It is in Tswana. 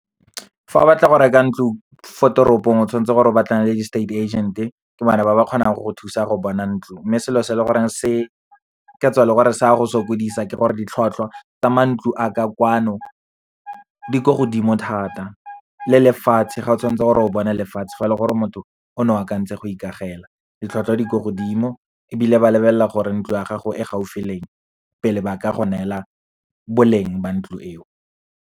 Fa o batla go reka ntlo fo toropong, o tshwanetse gore o batlane le di-estate agent-e, ke bone ba ba kgonang go go thusa go bona ntlo. Mme selo se leng gore se ka tswa e le gore sa go sokodisa, ke gore ditlhwatlhwa tsa mantlo a ka kwano di ko godimo thata. Le lefatshe, ga o tshwantse gore o bone lefatshe fa le gore o motho o ne o akantse go ikagele, ditlhwatlhwa di ko godimo, ebile ba lebelela gore ntlo ya gago e gaufi le eng, pele ba ka go neela boleng ba ntlo eo.